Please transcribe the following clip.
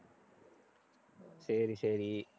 சரி, சரி